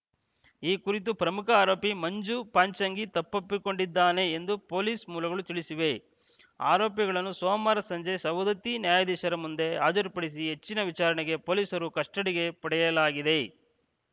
ಈ ಕುರಿತು ಪ್ರಮುಖ ಆರೋಪಿ ಮಂಜು ಪಾಚಂಗಿ ತಪ್ಪೊಪ್ಪಿಕೊಂಡಿದ್ದಾನೆ ಎಂದು ಪೊಲೀಸ್‌ ಮೂಲಗಳು ತಿಳಿಸಿವೆ ಆರೋಪಿಗಳನ್ನು ಸೋಮವಾರ ಸಂಜೆ ಸವದತ್ತಿ ನ್ಯಾಯಾಧೀಶರ ಮುಂದೆ ಹಾಜರುಪಡಿಸಿ ಹೆಚ್ಚಿನ ವಿಚಾರಣೆಗೆ ಪೊಲೀಸರು ಕಸ್ಟಡಿಗೆ ಪಡೆಯಲಾಗಿದೆ